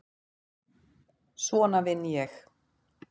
Svona vinn ég.